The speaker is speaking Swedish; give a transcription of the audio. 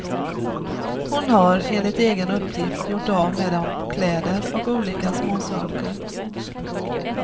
Hon har, enligt egen uppgift, gjort av med dem på kläder och olika småsaker.